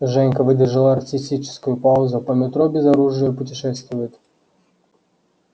женька выдержал артистическую паузу по метро без оружия путешествует